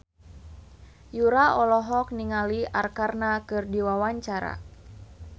Yura olohok ningali Arkarna keur diwawancara